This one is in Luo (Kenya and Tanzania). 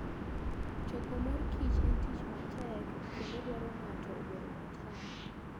Choko mor kich en tich matek kendo dwaro ni ng'ato obed motang'.